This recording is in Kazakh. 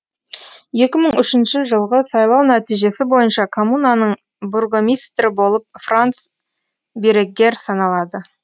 екі мың үшінші жылғы сайлау нәтижесі бойынша коммунаның бургомистрі болып франц биреггер саналады